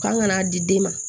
Kan ka n'a di den ma